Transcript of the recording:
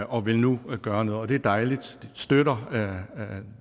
og vil nu gøre noget og det er dejligt de støtter